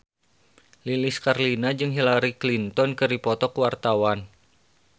Lilis Karlina jeung Hillary Clinton keur dipoto ku wartawan